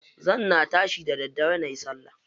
Zan na tashi da daddare nayi salla.